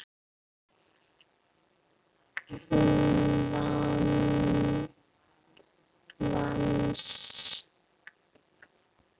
Þú vannst.